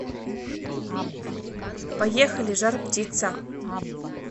поехали жар птица